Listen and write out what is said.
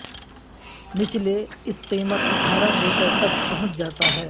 نچلے اس قیمت اٹھارہ میٹر تک پہنچ جاتا ہے